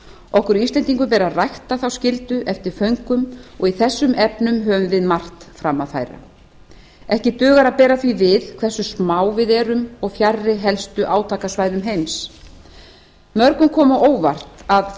okkur íslendingum ber að rækta þá skyldu eftir föngum og í þessum efnum höfum við margt fram að færa ekki dugar að bera því við hversu smá við erum og fjarri helstu átakasvæðum heims mörgum kom á óvart að